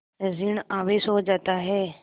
ॠण आवेश हो जाता है